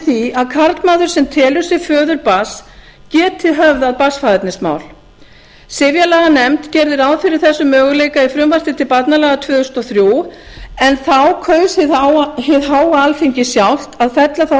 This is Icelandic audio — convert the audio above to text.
því að karlmaður sem telur sig föður barns geti höfðað barnsfaðernismál sifjalaganefnd gerði ráð fyrir þessum möguleika í frumvarpi til barnalaga tvö þúsund og þrjú en þá kaus hið háa alþingi sjálft að fella þá